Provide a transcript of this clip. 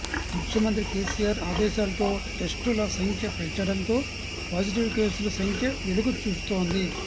ముఖ్యమంత్రి కేసీఆర్ ఆదేశాలతో టెస్టుల సంఖ్య పెంచడంతో పాజిటివ్ కేసుల సంఖ్య వెలుగు చూస్తోంది